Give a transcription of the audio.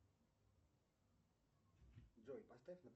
джой поставь